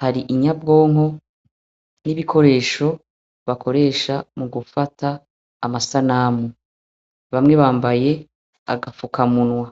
,hari inyabwonko n'ibikoresho bakoresha mugufata amasanamu. Bamwe bambaye agafuka munwa.